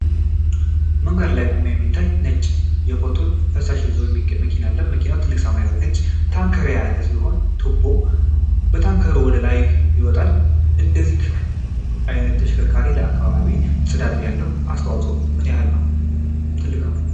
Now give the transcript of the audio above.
መንገድ ላይ ቆሞ የሚታይ ነጭ የፎቶን ፈሳሽ ቆሻሻ መኪና አለ። መኪናው ትልቅ ሰማያዊና ነጭ ታንከር የያዘ ሲሆን፣ ቱቦም ከታንከሩ ወደ ላይ ይወጣል። እንደዚህ አይነቱ ተሽከርካሪ ለአካባቢ ጽዳት ያለው አስተዋፅኦ ምን ያህል ትልቅ ነው?